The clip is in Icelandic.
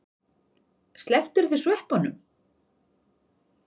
Slepptirðu sveppunum?